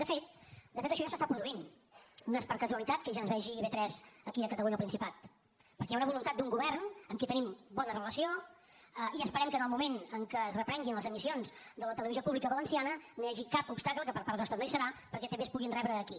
de fet de fet això ja s’està produint no és per casualitat que ja es vegi ib3 aquí a catalunya al principat perquè hi ha una voluntat d’un govern amb qui tenim bona relació i esperem que en el moment en què es reprenguin les emissions de la televisió pública valenciana no hi hagi cap obstacle que per part nostra no hi serà perquè també es puguin rebre aquí